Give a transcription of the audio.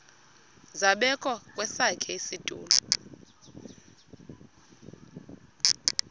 zabekwa kwesakhe isitulo